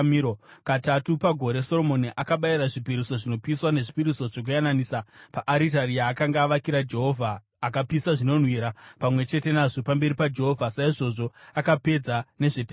Katatu pagore Soromoni akabayira zvipiriso zvinopiswa nezvipiriso zvokuyananisa paaritari yaakanga avakira Jehovha, akapisa zvinonhuhwira pamwe chete nazvo pamberi paJehovha. Saizvozvo akapedza nezvetemberi.